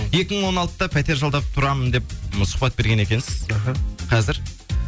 екі мың он алтыда пәтер жалдап тұрамын деп сұхбат берген екенсіз іхі қазір